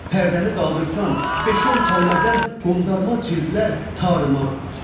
Pərdəni qaldırsan, beyt şon kəlmədən qondarma cildlər tarımar olar.